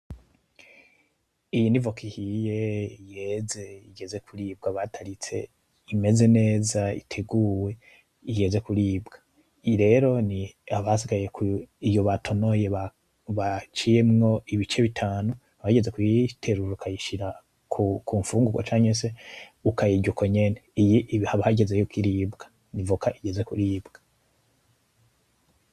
Iyi ni voka ihiye yeze igeze kuribwa bataritse imeze neza iteguwe igeze kuribwa, iyi rero ni haba hasigaye ko iyo batonoye baciyemwo ibice bitanu hageze kuyiterura ukayishira ku kumfungurwa canke ukayirya uko nyene, iyi haba hageze kwiribwa ni voka igeze kuribwa.